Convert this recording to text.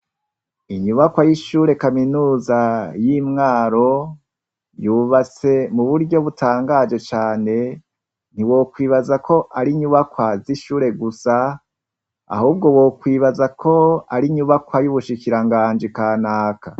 Inyubakwa yishure kaminuza y'Imwaro yubatse muburyo butangaje cane ntiwokwibaza ko arinyubakwa zishure gusa ahubwo wokwibazako arinyubakwa yubushikiranganji kanaka.